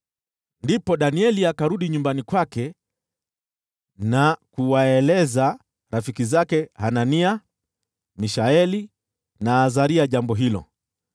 Ndipo Danieli akarudi nyumbani kwake na kuwaeleza rafiki zake Hanania, Mishaeli na Azaria jambo hilo.